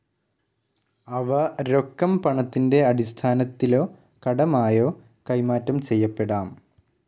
അവ രൊക്കം പണത്തിന്റെ അടിസ്ഥാനത്തിലോ കടമായോ കൈമാറ്റം ചെയ്യപ്പെടാം.